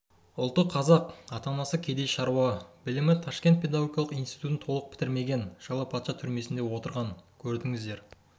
ұлты қазақ ата-анасы кедей шаруа білімі ташкент педагогикалық институтын толық бітірмеген жылы патша түрмесінде отырған көрдіңіздер